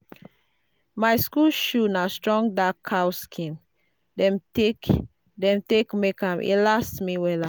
my school shoe na strong dark cow skin dem take dem take make am e last me wella.